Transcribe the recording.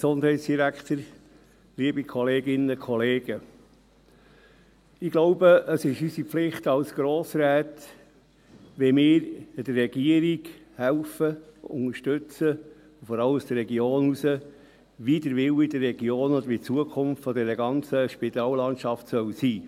Ich glaube, es ist unsere Pflicht als Grossräte, dass wir die Regierung unterstützen helfen, wie der Wille der Regionen oder die Zukunft dieser ganzen Spitallandschaft sein soll.